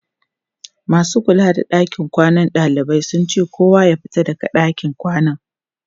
masu kula da ɗakin kwanan ɗalibai sun ce kowa ya fita daga ɗakin kwanan